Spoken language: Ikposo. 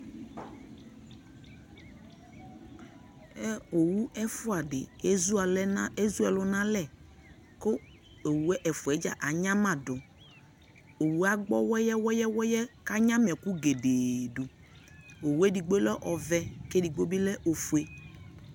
ɔwʋ ɛƒʋɛ di ɛdʋ ɛlʋ nʋ alɛ kʋ ɔwʋ ɛfʋɛ dza anyama dʋ, ɔwʋɛ agbɔ wɛyɛwɛyɛ kʋ anyama ɛkʋ gɛdɛɛ dʋ, ɔwʋɛ ɛdigbɔ lɛ ɔvɛ kʋ ɛdigbɔ lɛ ɔƒʋɛ